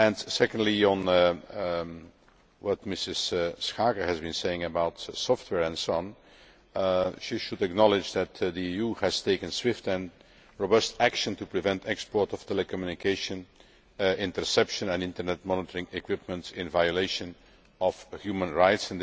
Secondly, on what Mrs Schaake has been saying about software and so on, she should acknowledge that the EU has taken swift and robust action to prevent the export of telecommunications interception and internet monitoring equipment in violation of human rights.